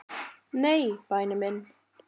"""Nei, væni minn."""